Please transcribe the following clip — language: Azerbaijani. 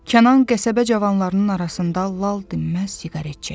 Kənan qəsəbə cavanlarının arasında lal dinməz siqaret çəkir.